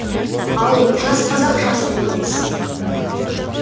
ал жас қазақ жасырын емес